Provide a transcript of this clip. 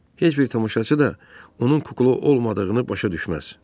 Heç bir tamaşaçı da onun kukla olmadığını başa düşməz.